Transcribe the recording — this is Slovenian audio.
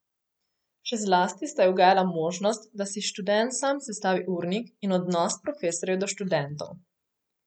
Še zlasti sta ji ugajala možnost, da si študent sam sestavi urnik in odnos profesorjev do študentov.